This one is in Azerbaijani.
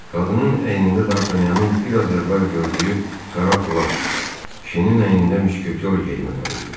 Qadının əynində dartanyanın biraz əvvəl gördüyü qara plaş, kişinin əynində müşketor geyimi var idi.